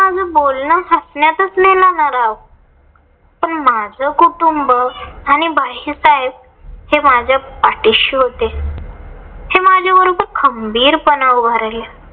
माझं बोलण हसण्यातच नेलं ना राव. पण माझं कुटुंब आणि भाईसाहेब हे माझ्या पाठीशी होते. हे माझ्या बरोबर खंबीर पणे उभे राहिले.